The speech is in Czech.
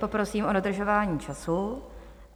Poprosím o dodržování času.